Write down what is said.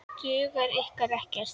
Dugar ykkur ekkert?